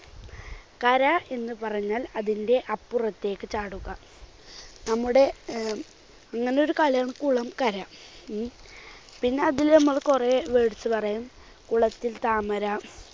കര എന്നുപറഞ്ഞാൽ അതിന്റെ അപ്പുറത്തേക്ക് ചാടുക. നമ്മുടെ അഹ് അങ്ങനെയൊരു കലം കുളം കര ഉം പിന്നെ അതിൽ നമ്മൾ കുറേ words പറയും കുളത്തിൽ താമര